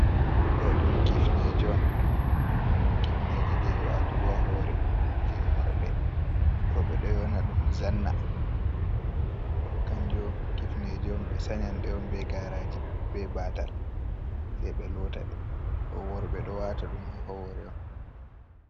Ɗo ɗum kifneje je watugo ha hore je worɓe doɓe do yona dum zanna to kanjo kifneje on be sanyan dey on be garaji be ɓatal sei be lota de to worɓe do wata ɗum ha hore on.